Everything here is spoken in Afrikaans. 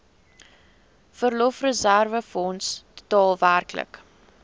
verlofreserwefonds totaal werklik